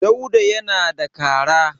Dauda yana da kara.